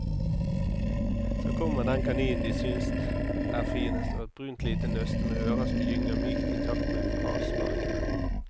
Så kommer den kaninen de synes er finest, et brunt lite nøste med ører som gynger mykt i takt med frasparkene.